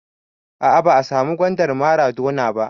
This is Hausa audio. A'a ba a samu gwandar maradona ba